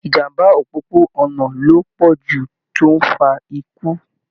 Ìjàmbá òpópó-ònà ló pọ jù tó n fà ikú